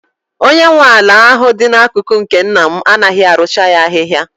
Onye nwe ala ahụ dị n'akụkụ nke nna m anaghị arụcha ya ahịhịa.